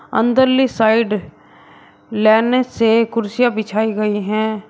अंदर ली साइड लाइने से कुर्सियां बिछाई गई है।